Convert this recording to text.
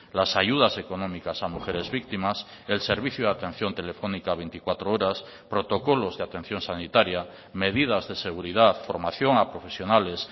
las ayudas económicas a mujeres víctimas el servicio de atención telefónica veinticuatro horas protocolos de atención sanitaria medidas de seguridad formación a profesionales